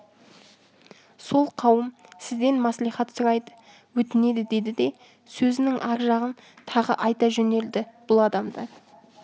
сол қауым сізден мәслихат сұрайды өтінеді деді де сөзінің ар жағын тағы айта жөнелді бұл адамдар